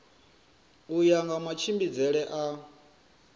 u ya nga matshimbidzele a